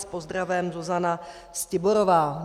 S pozdravem Zuzana Stiborová."